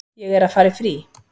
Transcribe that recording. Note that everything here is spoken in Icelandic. Ég er að fara í frí.